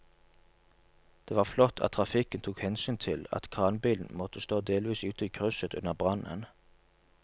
Det var flott at trafikken tok hensyn til at kranbilen måtte stå delvis ute i krysset under brannen.